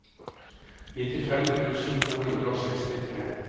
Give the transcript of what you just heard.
nittifem tusen to hundre og sekstitre